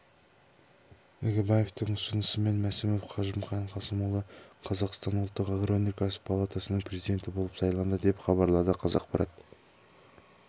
игібаевтың ұсынысымен мәсімов қажымқан қасымұлы қазақстан ұлттық агроөнеркәсіп палатасының президенті болып сайланды деп хабарлады қазақпарат